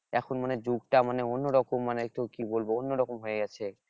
এখন মানে যুগ টা মানে অন্য রকম মানে তোকে কি বলবো অন্য রকম হয়ে গেছে